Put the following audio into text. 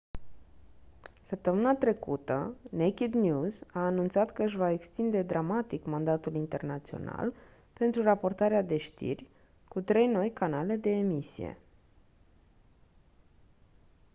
săptămâna trecută naked news a anunțat că își va extinde dramatic mandatul internațional pentru raportarea de știri cu trei noi canale de emisie